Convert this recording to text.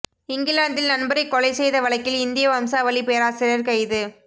இங்கிலாந்தில் நண்பரை கொலை செய்த வழக்கில் இந்திய வம்சாவளி பேராசிரியர் கைது